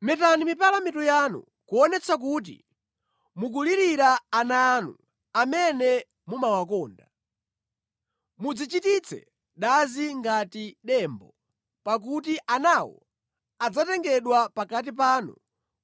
Metani mipala mitu yanu kuonetsa kuti mukulirira ana anu amene mumawakonda; mudzichititse dazi ngati dembo, pakuti anawo adzatengedwa pakati panu